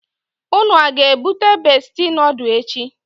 Unu a ga ebute Besti nodulu echi?